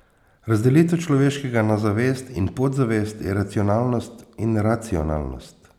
Razdelitev človeškega na zavest in podzavest, iracionalnost in racionalnost.